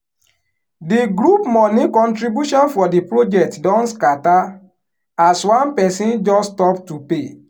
di group money contribution for di project don scatter as one person just stop to pay